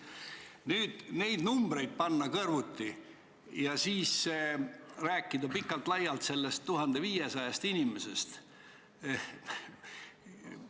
Nüüd, neid numbreid panna kõrvuti ja siis rääkida pikalt-laialt sellest 1500 inimesest ...